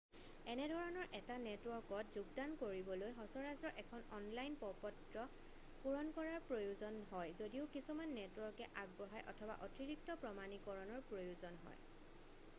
এনেধৰণৰ এটা নেটৱৰ্কত যোগদান কৰিবলৈ সচৰাচৰ এখন অনলাইন প্ৰপত্ৰ পুৰণ কৰাৰ প্ৰয়োজন হয় যদিও কিছুমান নেটৱৰ্কে আগবঢ়ায় অথবা অতিৰিক্ত প্ৰমাণিকৰণৰ প্ৰয়োজন হয়